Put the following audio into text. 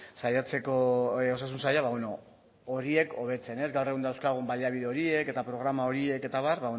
saiatzeko osasun saila horiek hobetzen gaur egun dauzkagun baliabide horiek eta programa horiek eta abar